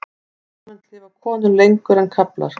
Almennt lifa konur lengur en karlar.